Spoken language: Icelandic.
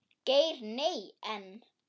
Geir Nei, en.